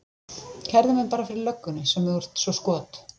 Kærðu mig bara fyrir löggunni sem þú ert svo skot